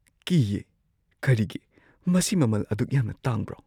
ꯀꯤꯌꯦ ? ꯀꯔꯤꯒꯤ ? ꯃꯁꯤ ꯃꯃꯜ ꯑꯗꯨꯛ ꯌꯥꯝꯅ ꯇꯥꯡꯕ꯭ꯔꯣ ?